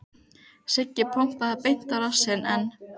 Siggi pompaði beint á rassinn en